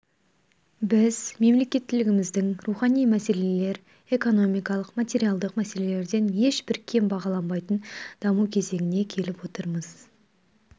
біз мемлекеттілігіміздің рухани мәселелер экономикалық материалдық мәселелерден ешбір кем бағаланбайтын даму кезеңіне келіп отырмыз